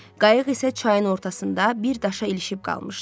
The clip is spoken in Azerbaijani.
Qayıq isə çayın ortasında bir daşa ilişib qalmışdı.